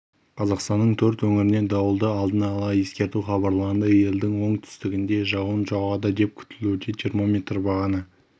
қазақстанның төрт өңіріне дауылды алдын ала ескерту хабарланды елдің оңтүстігінде жауын жауады деп күтілуде термометр бағаны